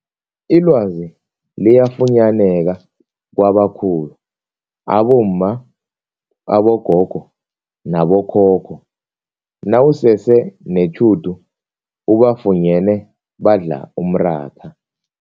Ilwazi liyafunyaneka kwabakhulu abomma, abogogo nabo khokho nawusese netjhudu ubafunyene badla umratha.